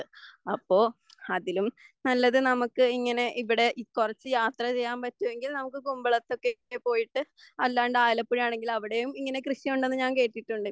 അപ്പോൾ അതിലും നല്ലത് നമുക്ക് ഇങ്ങനെ ഇവിടെ കുറച്ചു യാത്രചെയ്യാൻ പറ്റുമെങ്കിൽ നമുക്ക് കുമ്പളത്തേക്കൊക്കെ പോയിട്ട് അല്ലാണ്ട് ആലപ്പുഴയാണെങ്കിൽ അവിടെയും ഇങ്ങനെ കൃഷിയുണ്ടെന്ന് ഞാൻ കേട്ടിട്ടുണ്ട്